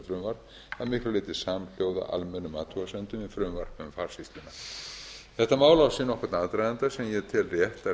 frumvarp að miklu leyti samhljóða almennum athugasemdum við frumvarp um farsýsluna þetta mál á sér nokkurn aðdraganda sem ég tel rétt að reifa